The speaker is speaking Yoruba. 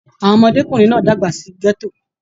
Àwọn ọmọdékunrin náà dàgbà sí gẹto.